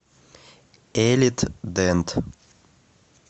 элит дент